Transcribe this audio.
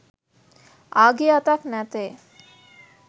ආගිය අතක් නැතේ